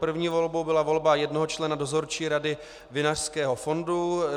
První volbou byla volba jednoho člena Dozorčí rady Vinařského fondu.